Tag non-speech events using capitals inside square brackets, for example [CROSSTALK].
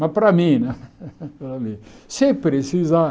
Mas, para mim né, [LAUGHS] sem precisar...